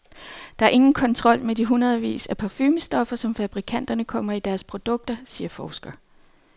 Der er ingen kontrol med de hundredvis af parfumestoffer, som fabrikanterne kommer i deres produkter, siger forsker.